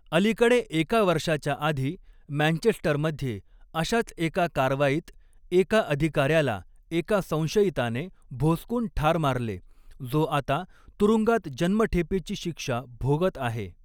अलीकडे एका वर्षाच्या आधी, मँचेस्टरमध्ये अशाच एका कारवाईत एका अधिकाऱ्याला एका संशयिताने भोसकून ठार मारले, जो आता तुरुंगात जन्मठेपेची शिक्षा भोगत आहे.